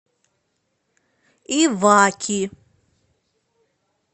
иваки